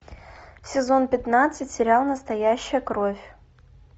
сезон пятнадцать сериал настоящая кровь